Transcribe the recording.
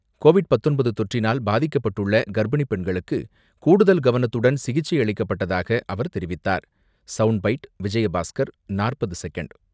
Covid பத்தொன்பது தொற்றினால் பாதிக்கப்பட்டுள்ள கர்ப்பிணி பெண்களுக்ககு கூடுதல் கவனத்துடன் சிகிச்சை அளிக்கப்பட்டதாக அவர் தெரிவித்தார்.